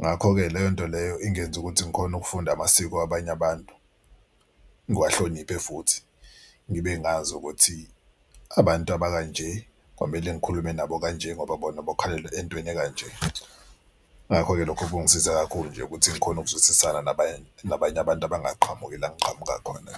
Ngakho-ke leyo nto leyo ingenza ukuthi ngikhone ukufunda amasiko abanye abantu ngiwahloniphe futhi ngibe ngazi ukuthi abantu abakanje kwamele ngikhulume nabo kanje ngoba bona bakholelwa entweni ekanje. Ngakho-ke lokho kungisize kakhulu nje ukuthi ngikhone ukuzwisisana nabanye nabanye abantu abangaqhamuki la engiqhamuka khona.